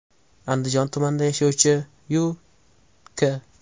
Andijon tumanida yashovchi Yu.K.